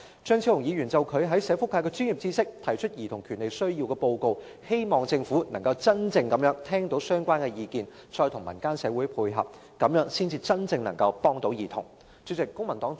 張超雄議員就他在社福界的專業知識提出有關兒童權利的報告，希望政府能夠真正聽到相關意見，再與民間社會配合，這樣才能夠真正幫助兒童。